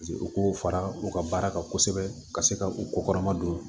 u k'o fara u ka baara kan kosɛbɛ ka se ka u kokɔrɔma don